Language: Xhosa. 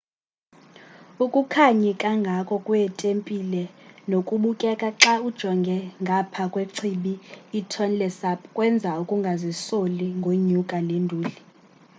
ukukhanyi kangako kwetempile nokubukeka xa ujonge ngapha kwechibi itonle sap kwenza ukungazisoli ngonyuka le nduli